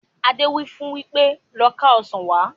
Adé wí fún wípé "Lọ ká Ọ̀sán wá"!